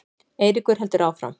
Eiríkur heldur áfram.